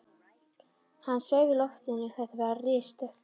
Hann sveif í loftinu, þetta var risastökk!